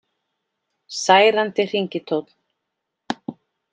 Særandi hringitónn